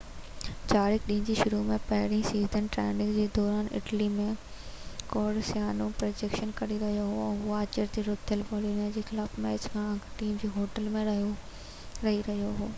جارق ڏينهن جي شروع ۾ پري-سيزن ٽريننگ جي دوران اٽلي ۾ ڪورسيانو ۾ پريڪٽس ڪري رهيو هو هو آچر تي رٿيل بولونيا جي خلاف ميچ کان اڳ ٽيم جي هوٽل ۾ رهي رهيو هو